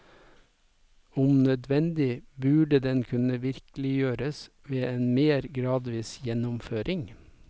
Om nødvendig burde den kunne virkeliggjøres ved en mer gradvis gjennomføring.